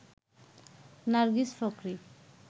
Nargis Fakhri